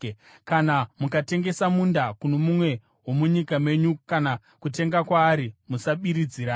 “ ‘Kana mukatengesa munda kuno mumwe womunyika menyu kana kutenga kwaari, musabiridzirana.